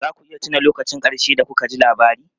Za ku iya tuna lokacin ƙarshe da kuka ji labari?